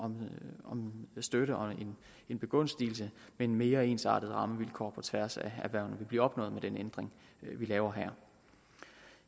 en støtte og en begunstigelse men mere ensartede rammevilkår på tværs af hvad vil blive opnået med den ændring vi laver her